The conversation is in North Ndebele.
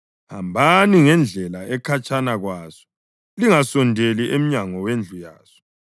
Hambani ngendlela ekhatshana kwaso, lingasondeli emnyango wendlu yaso,